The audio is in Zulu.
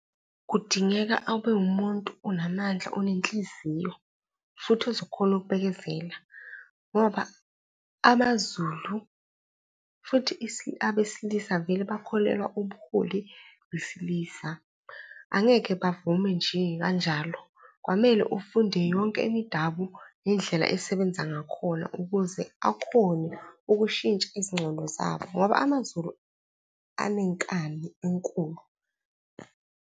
Kudingeka abe wumuntu onamandla, onenhliziyo futhi ozokhona ukubekezela ngoba amaZulu futhi abesilisa vele bakholelwa ubuholi besilisa. Angeke bavume nje kanjalo. Kwamele ufunde yonke imidabu ngendlela esebenza ngakhona ukuze akhone ukushintsha ezingcondo zabo ngoba amaZulu enenkani enkulu.